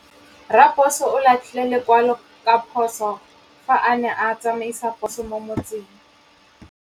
Raposo o latlhie lekwalô ka phosô fa a ne a tsamaisa poso mo motseng.